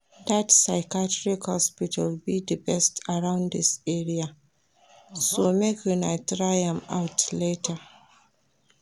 Dat psychiatrist hospital be the best around dis area so make una try am out later